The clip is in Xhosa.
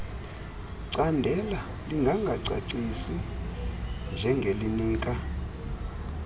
candela lingangacacisi njengelinika